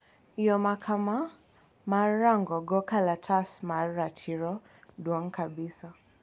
yo makama mar rang'o go kalatas mar ratiro duong' kabisa